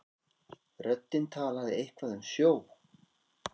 Röddin talaði eitthvað um sjó.